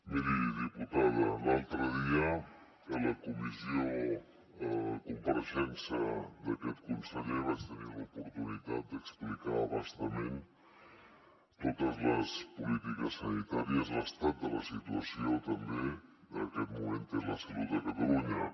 miri diputada l’altre dia a la comissió en la compareixença d’aquest conseller vaig tenir l’oportunitat d’explicar a bastament totes les polítiques sanitàries l’estat de la situació també que en aquest moment té la salut de catalunya